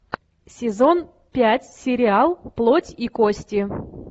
сезон пять сериал плоть и кости